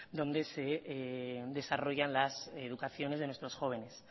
donde desarrollan las educaciones de nuestros jóvenes